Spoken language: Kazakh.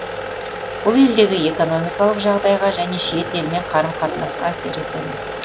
бұл елдегі экономикалық жағдайға және шет елмен қарым қатынасқа әсер етеді